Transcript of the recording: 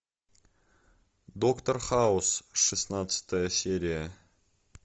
доктор хаус шестнадцатая серия